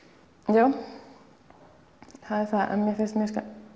já það er það en mér finnst mér